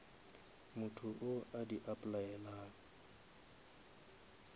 motho wo a di applyelang